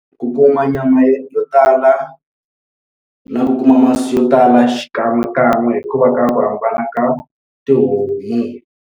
Ku kuma nyama yo tala, na ku kuma masi yo tala xikan'we kan'we hikuva ka ku hambana ka tihomu.